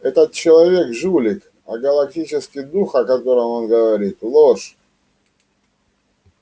этот человек жулик а галактический дух о котором он говорит ложь